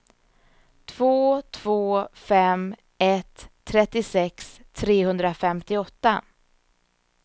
två två fem ett trettiosex trehundrafemtioåtta